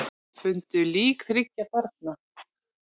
Fundu lík þriggja barna